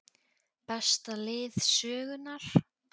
Besta lið sögunnar???